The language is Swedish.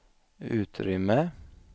utrymme